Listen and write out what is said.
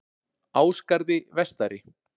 Ásgarði vestari